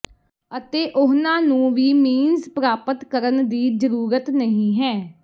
ਅਤੇ ਉਹਨਾਂ ਨੂੰ ਵੀ ਮੀੰਸ ਪ੍ਰਾਪਤ ਕਰਨ ਦੀ ਜਰੂਰਤ ਨਹੀਂ ਹੈ